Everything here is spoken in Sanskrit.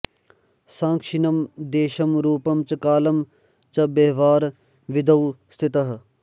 साक्षिणम् देशं रूपं च कालं च व्यवहारविधौ स्थितः